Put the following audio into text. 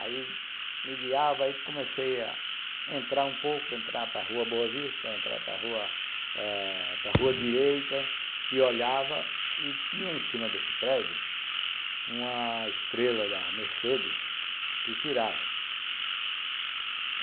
Aí me guiava e comecei a entrar um pouco, entrar para a Rua Boa Vista, entrar para a Rua Direita, e olhava e tinha em cima desse prédio uma estrela da Mercedes que girava.